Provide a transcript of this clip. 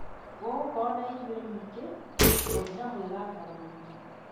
Gũgũkorwo na irio nyingĩ, njohi na mwĩgangaro muingi